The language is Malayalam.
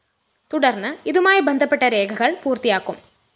തുടര്‍ന്ന് ഇതുമായി ബന്ധപ്പെട്ട രേഖകള്‍ പൂര്‍ത്തിയാക്കും